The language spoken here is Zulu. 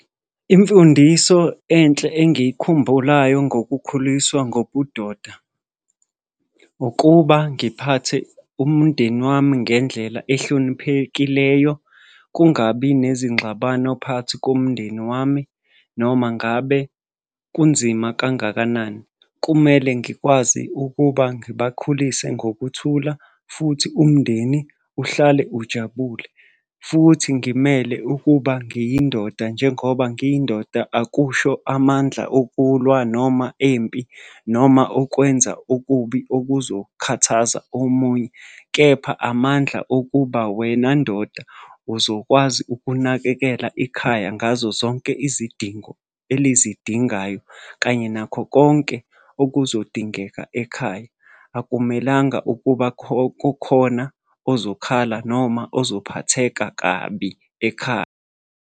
Imfundiso enhle engiyikhumbulayo ngokukhuliswa ngobudoda ukuba ngiphathe umndeni wami ngendlela ehloniphekileyo. Kungabi nezingxabano phakathi komndeni wami, noma ngabe kunzima kangakanani. Kumele ngikwazi ukuba ngibakhulise ngokuthula, futhi umndeni uhlale ujabule, futhi ngimele ukuba ngiyindoda. Njengoba ngiyindoda, akusho amandla okulwa noma empi noma okwenza okubi okuzokhathaza omunye, kepha amandla okuba wena ndoda uzokwazi ukunakekela ikhaya ngazo zonke izidingo elizidingayo, kanye nakho konke okuzodingeka ekhaya. Akumelanga kukhona ozokhala noma ozophatheka kabi ekhaya.